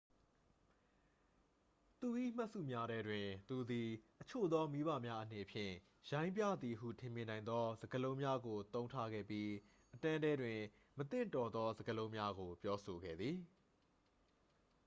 သူ၏မှတ်စုများထဲတွင် သူသည် အချို့သောမိဘများအနေဖြင့် ရိုင်းပြသည်ဟုထင်မြင်နိုင်သော စကားလုံးများကို သုံးထားခဲ့ပြီး အတန်းထဲတွင် မသင့်တော်သောစကားလုံးများကို ပြောဆိုခဲ့သည်